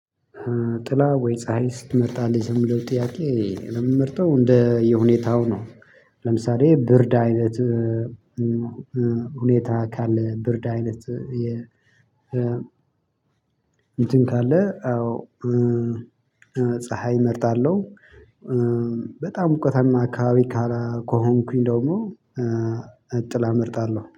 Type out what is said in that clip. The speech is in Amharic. ጥላ ወይ? ፀሀይ ስትመጣ ልዝምደው ጥያቄ ለምን መርጠው እንደ የሁኔታው ነው። ለምሳሌ ብርድ አይነት። ሁኔታ ካለ ብርድ አይነት። እንትን ካለ አዎ ፀሀይ እመርጣለሁ። በጣም ሙቀታማ አካባቢ ካላ ከሆንኩኝ ደግሞ ጥላ እመርጣለሁ